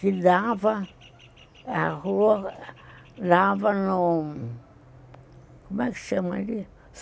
que dava, a rua dava no... Como é que chama ali?